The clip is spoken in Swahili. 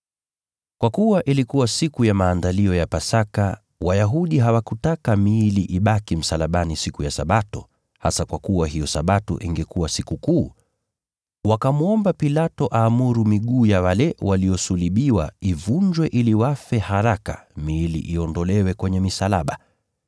Kwa kuwa ilikuwa siku ya Maandalio ya Pasaka, Wayahudi hawakutaka miili ibaki msalabani siku ya Sabato, hasa kwa kuwa hiyo Sabato ingekuwa Sikukuu. Wakamwomba Pilato aamuru miguu ya wale waliosulubiwa ivunjwe ili wafe haraka miili iondolewe kwenye misalaba.